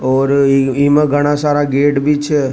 और इमा गणा सारा गए गेट भी छ।